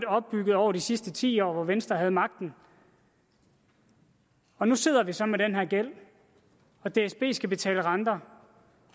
opbygget over de sidste ti år hvor venstre havde magten nu sidder de så med den her gæld og dsb skal betale renter